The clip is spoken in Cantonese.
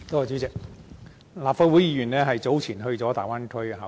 主席，立法會議員早前到大灣區考察。